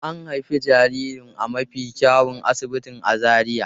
An haifi jaririn a mafi kyawun asibiti a Zaria.